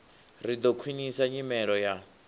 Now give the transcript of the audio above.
ri ḓo khwiṋisa nyimelo ya